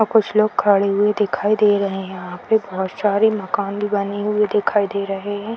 और कुछ लोग खड़े हुए दिखाई दे रहे हैं यहाँ पे बहुत सारे मकान भी बने हुई दिखाई दे रहे हैं।